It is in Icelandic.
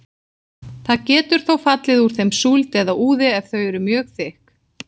Það getur þó fallið úr þeim súld eða úði ef þau eru mjög þykk.